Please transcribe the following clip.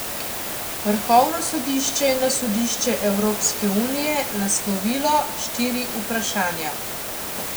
Vrhovno sodišče je na sodišče Evropske unije naslovilo štiri vprašanja.